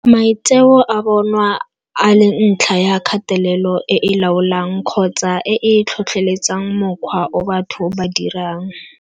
Maitseo a bonwa a le ntlha ya kgatelelo e e laolang kgotsa e e tlhotlheletsang mokgwa o batho ba dirang.